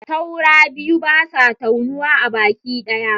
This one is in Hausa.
Taura biyu, basa taunuwa a baki ɗaya